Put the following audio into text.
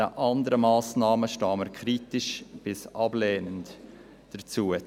Den anderen Massnahmen stehen wir kritisch bis ablehnend gegenüber.